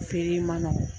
Feere in man nɔgɔn